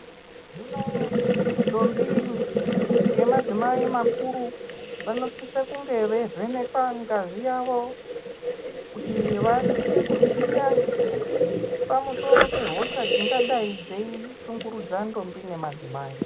Hino ndombi ngemadzimai makuru vanosise kunge veivhenekwa ngazi yavo kuti vasise kuziya pamusoro pehosha dzingadai dzeishungurudza ndombi nemadzimai.